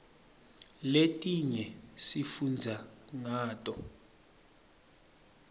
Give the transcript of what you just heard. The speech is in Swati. letinye sifundza ngato